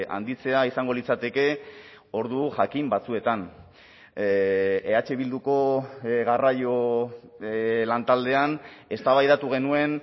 handitzea izango litzateke ordu jakin batzuetan eh bilduko garraio lantaldean eztabaidatu genuen